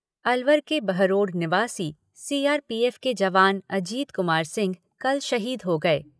अलवर के बहरोड निवासी C R P F के जवान अजीत कुमार सिंह कल शहीद हो गए।